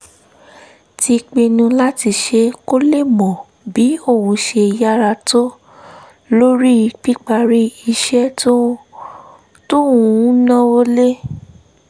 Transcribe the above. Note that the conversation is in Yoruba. ti pinnu láti ṣe kó lè mọ̀ bí òun ṣe yára tó lórí píparí iṣẹ́ tó ń náwó lé